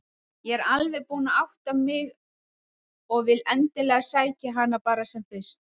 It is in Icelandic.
Ég er alveg búin að átta mig og vil endilega sækja hana bara sem fyrst.